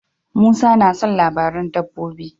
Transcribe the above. Musa tana son labaran dabbobi.